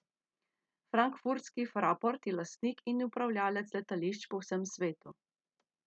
Frankfurtski Fraport je lastnik in upravljalec letališč po vsem svetu.